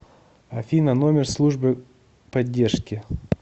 афина номер службы поддержки